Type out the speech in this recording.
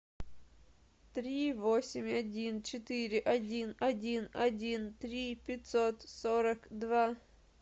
три восемь один четыре один один один три пятьсот сорок два